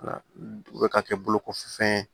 U bɛ ka kɛ bolokɔfɛ fɛn ye